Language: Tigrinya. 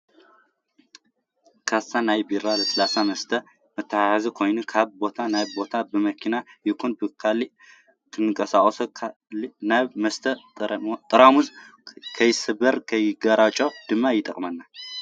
ካሳ ናይ ቢራን ልስሉስ መስተን መተሓዚ ኮይኑ ካብ ቦታ ናብ ቦታ ብመኪና ይኩን ብካልእ ክንቀሳቀስ ኮሎ ናይቲ መስተ ጡሩሙዝ ንከይስበርን ንከይጋጨውን ድማ ይጠቅመና።